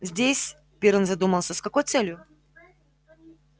здесь пиренн задумался с какой целью